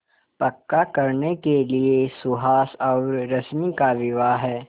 पक्का करने के लिए सुहास और रश्मि का विवाह